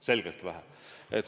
Selgelt vähe!